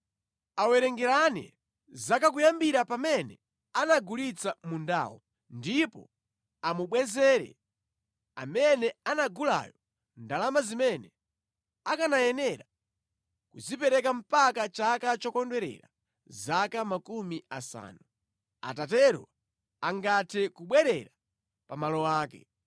Awerengerane zaka kuyambira pamene anagulitsa mundawo ndipo amubwezere amene anagulayo ndalama zimene akanayenera kuzipereka mpaka chaka chokondwerera zaka makumi asanu. Atatero angathe kubwerera pa malo ake.